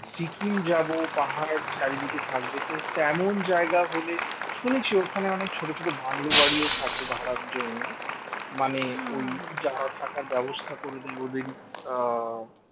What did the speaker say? সিকিম যাব পাহাড় চারিদিকে থাকবে তো তেমন জায়গা হলে শুনেছি ওখানে অনেক ছোট ছোট বাংলো বাড়িও থাকে ভাড়ার জন্য মানে ওই যারা থাকার ব্যবস্থা করে দেয় ওদেরই আহ